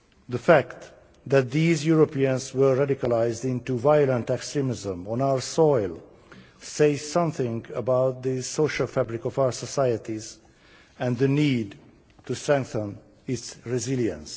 The fact that these Europeans were radicalised into violent extremism on our soil says something about the social fabric of our societies and the need to strengthen its resilience.